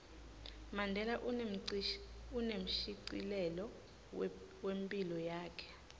mandela unemshicilelo wephilo yakhe